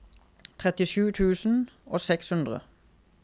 trettisju tusen og seks hundre